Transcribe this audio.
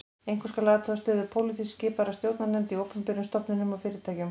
Einkum skal athuga stöðu pólitískt skipaðra stjórnarnefnda í opinberum stofnunum og fyrirtækjum